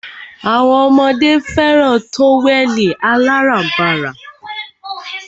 Awọn ọmọdé fẹràn tówẹ̀lì aláránbara.